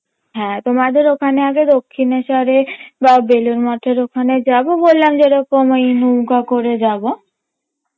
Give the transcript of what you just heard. হ্যাঁ তোমাদের ওখানে আগে দক্ষিনেস্বরে বা বেলুর মঠের ওখানে যাবো বললাম যেরকম ওই নৌকা করে যাবো